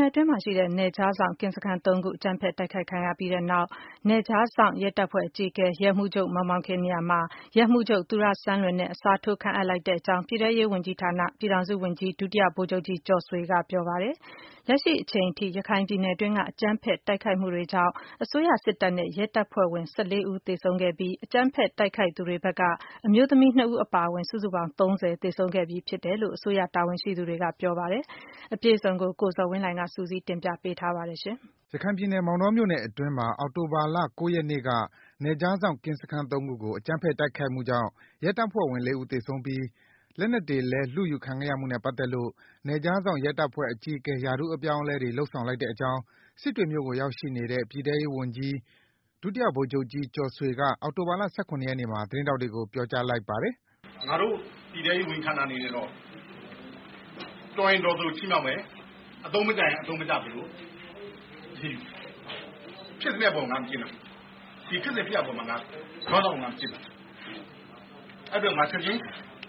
နယ်အတွင်းမှာရှိတဲ့ နယ်ခြားစောင့် ကင်းစခန်း (၃) ခု အကြမ်းဖက် တိုက်ခိုက်ခံရပြီးတဲ့နောက် နယ်ခြားစောင့် ရဲတပ်ဖွဲ့အကြီးအကဲ ရဲမှူးချုပ် မောင်မောင်ခင် နေရာမှာ ရဲမှူးချုပ် သူရစန်းလွင်နဲ့ အစားထိုးခန့်အပ်လိုက်ကြောင်း ပြည်ထဲရေးဝန်ကြီးဌာန ပြည်ထောင်စုဝန်ကြီး ဒုတိယဗိုလ်ချုပ်ကြီး ကျော်ဆွေက ပြောပါတယ်။ လက်ရှိအချိန်အထိ ရခိုင်ပြည်နယ်အတွင်းက အကြမ်းဖက် တိုက်ခိုက်မှုတွေကြောင့် အစိုးရစစ်တပ်နဲ့ ရဲတပ်ဖွဲ့ဝင် ၁၄ ဦး သေဆုံးခဲ့ပြီး အကြမ်းဖက် တိုက်ခိုက်သူတွေဖက်က အမျိုးသမီး ၂ ဦး အပါအဝင် စုစုပေါင်း ၃၀ သေဆုံးခဲ့ပြီး ဖြစ်တယ်လို့ အစိုးရ တာဝန်ရှိသူတွေက ပြောပါတယ်။ အပြည့်အစုံကိုတော့ ကိုဇော်ဝင်းလှိုင်က စုစည်း တင်ပြပေးထားပါတယ်။ ရခိုင်ပြည်နယ်အတွင်းမှာရှိတဲ့ အောက်တိုဘာလ ၉ ရက်နေ့က နယ်ခြားစောင့် ကင်းစခန်း (၃) ခု အကြမ်းဖက် တိုက်ခိုက်မှုကြောင့် ရဲတပ်ဖွဲ့ဝင် ၄ ဦး သေဆုံးပြီး လက်နက်တွေလည်း လုယူခံခဲ့ရမှုနဲ့ ပတ်သက်လို့ နယ်ခြားစောင့် ရဲတပ်ဖွဲ့အကြီးအကဲ ရာထူးအပြောင်းအလဲတွေ လုပ်ဆောင်လိုက်တဲ့အကြောင်း စစ်တွေမြို့ကိုရောက်ရှိနေတဲ့ ပြည်ထောင်စုဝန်ကြီး ဒုတိယဗိုလ်ချုပ်ကြီး ကျော်ဆွေက သတင်းထောက်တွေကို ပြောပါတယ်။ “ငါတို့ ပြည်ထဲရေးဝန်ကြီးဌာနအနေနဲ့တော့ တော်ရင်တော်သလိုချီးမြှောက်မယ်၊ အသုံးမကျရင် အသုံးမကျသလို အရေးယူမယ်။ ဖြစ်စဉ်ဖြစ်ရပ် အပေါ်မှာ ခေါင်းဆောင်ကို မကြည့်ဘူး။ အဲဒီအတွက် ချက်ချင်း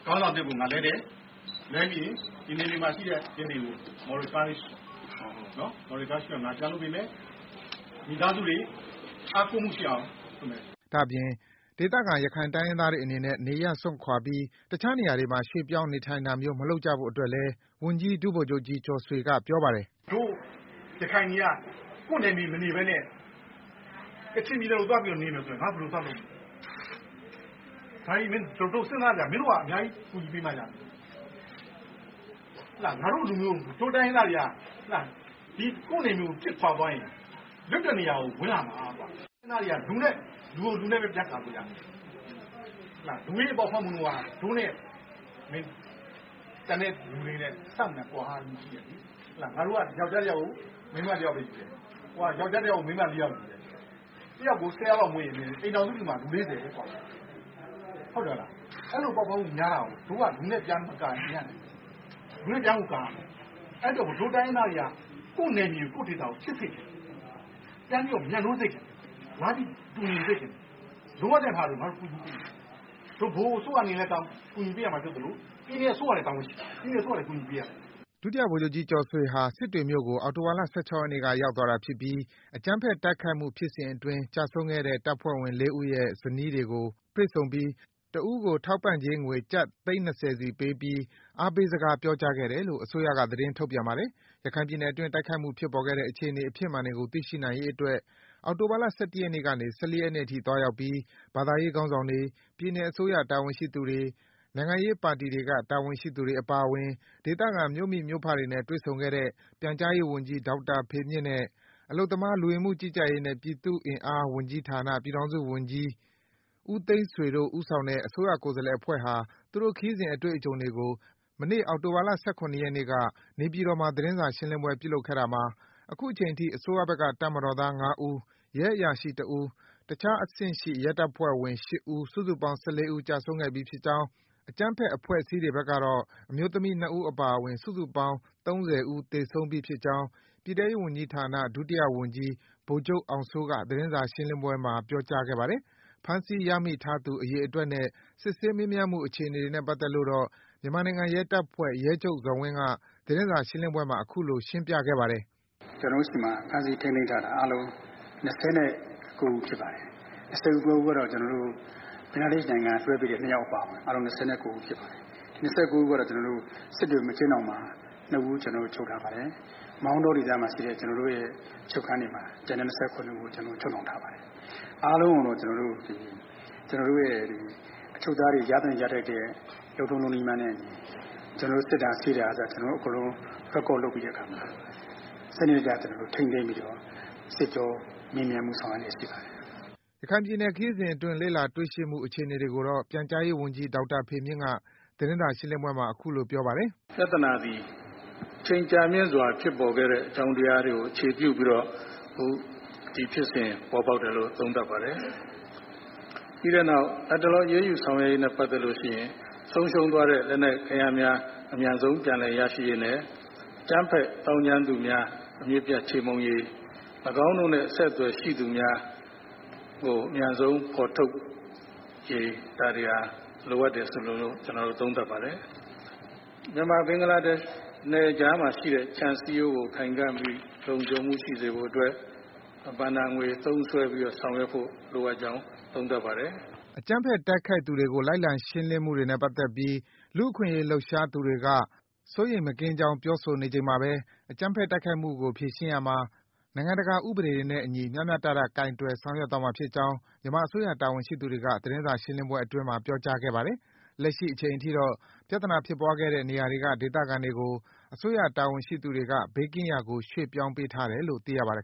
ခေါင်းဆောင် အသစ်ကို ငါ လဲတယ်။ ပြီးတော့ ဒီနယ်မှာရှိတဲ့ရဲတွေကို Moral encourage အောင်ပြန်လုပ်ပေးမယ်။ မိသားစုတွေအားကိုးမှုရှိအောင်လုပ်မယ်။” ဒါ့အပြင် ဒေသခံ တိုင်းရင်းသားတွေအနေနဲ့ နေရပ်စွန့်ခွာပြီး တခြားနေရာတွေမှာ ပြောင်းရွှေ့ နေထိုင်တာမျိုး မလုပ်ကြဖို့အတွက်လည်း ဝန်ကြီး ဒုဗိုလ်ချုပ်ကြီး ကျော်ဆွေက ပြောကြားခဲ့ပါတယ်။ “တို့ရခိုင်တွေက ကိုယ့်နယ်မြေမနေပဲနဲ့ ကချင်ပြည်နယ်ကိုသွားပြီးတော့နေမယ် ဆိုရင် ငါတို့ဘယ်လိုသွားလုပ်မလဲ ။ဒါတွေကို မင်းတို့အများကြီးကူညီပေးမှရမယ်။ ငါတို့လူမျိုး၊ တို့တိုင်းရင်းသားတွေက ကိုယ့်နယ်မြေကို ပစ်ခွာသွားရင် သူတို့က လွတ်တဲ့နေရာကို ဝင်လာမှကွ။ အဲဒါတွေက လူကို လူနဲ့ပဲ ပြဿနာပေးတာ။ လူဦးရေပေါက်ဖွားမှုနှုန်းဟာ သူတို့နဲ့ ကျန်တဲ့လူတွေနဲ့ အဆမတန် ကွာဟမှုရှိတယ်။ ငါတို့က ယောကျာ်းတယောက်ကို မိန်းမ ၁ ယောက်ပဲယူတယ်။ ဟိုဘက်က ယောကျာ်းတယောက်ကို မိန်းမ ၄ ယောက်ယူတယ်။ ၁ ယောက်ကို ၁၀ နှုန်းနဲ့မွေးရင် အိမ်ထောင်စုတခုကို လူ ၄၀။ အဲဒီလိုပေါက်ဖွားမှုများတာကို တို့က လူနဲ့ပြန်ပြီးမကာရင်မရဘူး။ လူနဲ့ပြန်ကိုကာရမယ်။ အဲဒါကြောင့် တို့ တိုင်းရင်းသားတွေကို ကိုယ့်နယ်မြေ၊ ကိုယ့်ဒေသကို ချစ်စေချင်တယ်။ ပြန်ပြီးတော့ မြတ်နိုးစေချင်တယ်။ စိတ်တဝှမ်းတည်း ဖြစ်စေချင်တယ်။ ဗဟိုအစိုးရကလည်း ကူညီပေးရမှာဖြစ်သလို ၊ ပြည်နယ်အစိုးရမှာလည်း တာဝန်ရှိတယ်။ ပြည်နယ်အစိုးရလည်း ကူညီပေးရမယ်။” ဝန်ကြီး ဒုတိယဗိုလ်ချုပ်ကြီးကျော်ဆွေဟာ စစ်တွေမြို့ကို အောက်တိုဘာလ ၁၆ ရက်နေ့က ရောက်သွားတာဖြစ်ပြီး အကြမ်းဖက်တိုက်ခိုက်မှု ဖြစ်စဉ်အတွင်း ကျဆုံးခဲ့တဲ့ တပ်ဖွဲ့ဝင် (၄) ဦးရဲ့ ဇနီးတွေကို တွေ့ဆုံပြီး တစ်ဦးကို ထောက်ပံ့ငွေ ကျပ်သိန်း (၂ဝ) စီ ပေးပြီး အားပေးစကား ပြောကြားခဲ့တယ်လို့ အစိုးရက သတင်းထုတ်ပြန်ပါတယ်။ ရခိုင်ပြည်နယ်အတွင်း တိုက်ခိုက်မှုတွေ ဖြစ်ပေါ်ခဲ့တဲ့ အခြေအနေ အဖြစ်မှန်တွေကို သိရှိနိုင်ရေးအတွက် အောက်တိုဘာလ ၁၁ ရက်နေ့ကနေ ၁၄ ရက်နေ့အထိ သွားရောက်ခဲ့ပြီး ဘာသာရေးခေါင်းဆောင်တွေ၊ ပြည်နယ်အစိုး၇တာဝန်ရှိသူတွေ၊ နိုင်ငံရေးပါတီတွေက တာဝန်ရှိသူတွေအပါအဝင် ဒေသခံ မြို့မိ မြို့ဖ တွေနဲ့ တွေ့ဆုံခဲ့တဲ့ ပြန်ကြားရေးဝန်ကြီး ဒေါက်တာဖေမြင့်နဲ့ အလုပ်သမား လူဝင်မှုကြီးကြပ်ရေးနဲ့ ပြည်သူ့အင်အား ဝန်ကြီးဌာန ပြည်ထောင်စုဝန်ကြီး ဦးသိန်းဆွေတို့ ဦးဆောင်တဲ့ အစိုးရကိုယ်စားလှယ်အဖွဲ့ဟာ သူတို့ခရီးစဉ် အတွေ့အကြုံတွေကို မနေ့ အောက်တိုဘာလ ၁၇ ရက်နေ့က နေပြည်တော်မှာ သတင်းစာရှင်းလင်းပွဲ ပြုလုပ်ခဲ့တာမှာ အခုချိန်ထိ အစိုးရဘက်က တပ်မတော်သား ၅ ဦး၊ ရဲအရာရှိ ၁ ဦး၊ တခြားအဆင့်ရှိ ရဲတပ်ဖွဲ့ဝင် ၈ ဦး၊ စုစုပေါင်း ၁၄ ဦး ကျဆုံးခဲ့ပြီးဖြစ်ကြောင်း၊ အကြမ်းဖက် အဖွဲ့အစည်းတွေဖက်ကတော့ အမျိုးသမီး ၂ ဦးအပါအဝင် စုစုပေါင်း ၃၀ ဦး သေဆုံးပြီးဖြစ်ကြောင်း ပြည်ထဲရေးဝန်ကြီးဌာန ဒုတိယဝန်ကြီး ဗိုလ်ချုပ်အောင်စိုးက သတင်စာ ရှင်းလင်းပွဲမှာ ပြောပါတယ်။ ဖမ်းဆီးရမိသူအရေအတွက်နဲ့ စစ်ဆေးမေးမြန်းမှုအခြေအနေတွေနဲ့ ပတ်သက်လို့တော့ မြန်မာနိုင်ငံရဲတပ်ဖွဲ့ ရဲချုပ်ဇော်ဝင်းက သတင်းစာရှင်းလင်းပွဲမှာ အခုလို ရှင်းပြခဲ့ပါတယ်။ “ကျနော်တို့ဆီမှာ အခု ဖမ်းဆီးထိန်းသိမ်းထားတာ အားလုံး ၂၉ ဦး ဖြစ်ပါတယ်။ ဘင်္ဂလားဒေ့ရှ် နိုင်ငံက လွှဲပေးတဲ့ ၂ ယောက်အပါအဝင် ၂၉ ဦး ဖြစ်ပါတယ်။ ဒီ ၂၉ ဦးထဲက စစ်တွေ အကျဉ်းထောင်မှာ ၂ ဦး ချုပ်ထားပါတယ်။ မောင်တောဒေသမှာရှိတဲ့ အချုပ်ခန်းတွေမှာ ကျန်တဲ့ ၂၇ ဦးချုပ်နှောင်ထားပါတယ်။ အားလုံးကိုတော့ အချုပ်သားများ ရသင့်ရထိုက်သည့် လုပ်ထုံးလုပ်နည်းများနဲ့အညီ ကျနော်တို့ စစ်တာ ဆေးတာကအစ အားလုံး မှတ်တမ်းလုပ်ပြီး စနစ်တကျ ထိန်းသိမ်းစစ်ကြောမေးမြန်းဆောင်ရွက်လျက် ရှိပါတယ်။ ရခိုင်ပြည်နယ်ခရီးစဉ်အတွင်းလေ့လာတွေ့ရှိမှုအခြေအနေတွေကိုတော့ ပြန်ကြားရေးဝန်ကြီး ဒေါက်တာ ဖေမြင့်က သတင်းစာရှင်းလင်းပွဲမှာ အခုလိုပြောပါတယ်။ “ပြဿနာသည် အချိန်ကြာမြင့်စွာဖြစ်ပေါ်ခဲ့တဲ့ အကြောင်းတရားတွေကို အခြေပြုပြီးတော့ ဒီဖြစ်စဉ်ပေါ်ပေါက်တယ်လို့ သုံးသပ်ပါတယ်။ ပြီးတဲ့နောက် လက်တလောအရေးယူဆောင်ရွက်ရေးနဲ့ ပတ်သက်လို့ ဆုံးရှုံးသွားတဲ့ လက်နက်အင်အားများ အမြန်ဆုံးပြန်လည်ရရှိရေးနဲ့ အကြမ်းဖက်သောင်းကျန်းသူများ အမြစ်ပြတ်ချေမှုန်းရေး ၊ ၎င်းတို့နှင့် အဆက်အသွယ်ရှိသူများ ကိုအမြန်ဆုံးဖော်ထုတ်ရေး ဒါတွေလိုအပ်တယ်လို့ ကျနော်တို့ သုံးသပ်ပါတယ်။ မြန်မာ-ဘင်္ဂလားဒေ့ရှ် နယ်ကြားမှာရှိတဲ့ ခြံစည်းရိုးကို ခိုင်ခံ့ပြီးလုံခြုံမှုရှိစေဖို့အတွက် ဘဏ္ဍာငွေသုံးစွဲပြီးဆောင်ရွက်ဖို့ လိုအပ်ကြောင်း သုံးသပ်ပါတယ်။ အကြမ်းဖက်တိုက်ခိုက်သူတွေကို လိုက်လံရှင်းလင်းမှုတွေနဲ့ ပတ်သက်ပြီး လူ့အခွင့်အရေးလှုပ်ရှားသူတွေက စိုးရိမ်မကင်းကြောင်းပြောဆိုနေချိန်မှာပဲ အကြမ်းဖက်တိုက်ခိုက်မှုကို ဖြေရှင်းရာမှာ နိုင်ငံတကာဥပဒေတွေနဲ့ အညီ မျှမျှတတဖြေရှင်းဆောင်ရွက်သွားမှာဖြစ်ကြောင်း မြန်မာအစိုးရတာဝန်ရှိသူတွေက သတင်းစာရှင်းလင်းပွဲအတွင်းမှာ ပြောကြားသွားပါတယ်။ လက်ရှိအချိန်အထိတော့ ပြဿနာဖြစ်ပွားခဲ့တဲ့နေရာက ဒေသခံတွေကို အစိုးရတာဝန်ရှိသူတွေက ဘေးကင်းရာကို ရွေ့ပြောင်းပေးထားတယ်လို့ သိရပါတယ်